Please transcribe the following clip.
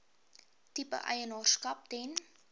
tipe eienaarskap ten